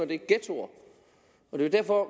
det er ghettoer det er derfor